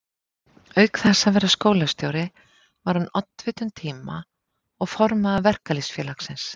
Auk þess að vera skólastjóri var hann oddviti um tíma og formaður Verkalýðsfélagsins.